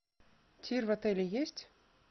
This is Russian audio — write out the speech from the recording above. тир в отеле есть